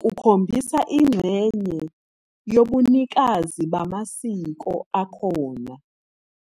kukhombisa ingxenye yobunikazi bamasiko akhona.